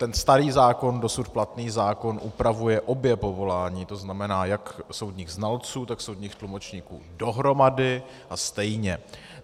Ten starý zákon, dosud platný zákon, upravuje obě povolání, to znamená jak soudních znalců, tak soudních tlumočníků dohromady a stejně.